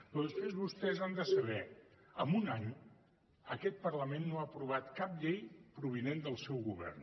però després vostès ho han de saber amb un any aquest parlament no ha aprovat cap llei provinent del seu govern